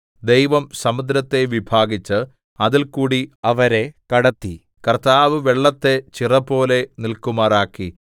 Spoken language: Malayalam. ദൈവം സമുദ്രത്തെ വിഭാഗിച്ച് അതിൽകൂടി അവരെ കടത്തി കർത്താവ് വെള്ളത്തെ ചിറപോലെ നില്‍ക്കുമാറാക്കി